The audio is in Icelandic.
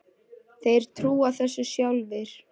Þeir trúa þessu sjálfir